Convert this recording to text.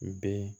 Ben